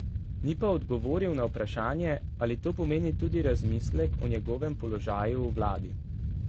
Ni pa odgovoril na vprašanje, ali to pomeni tudi razmislek o njegovem položaju v vladi.